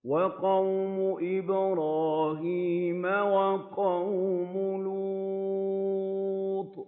وَقَوْمُ إِبْرَاهِيمَ وَقَوْمُ لُوطٍ